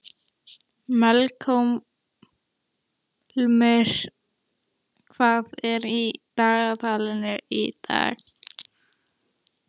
Melkólmur, hvað er í dagatalinu í dag?